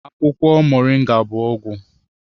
Akwụkwọ Moringa bụ ọgwụ